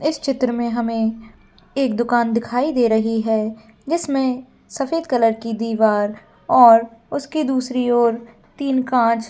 इस चित्र में हमें एक दुकान दिखाई दे रही है जिसमें सफेद कलर की दीवार और उसके दूसरी और तीन कांच--